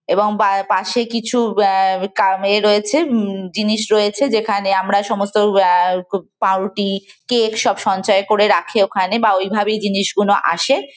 এবং বা পাশে কিছু বা কামে রয়েছে আহ উম জিনিস রয়েছে। যেখানে আমরা সমস্ত আহ পাউরুটি কেক সব সঞ্চয় করে রাখে ওখানে বা ওইভাবেই জিনিসগুলো আসে।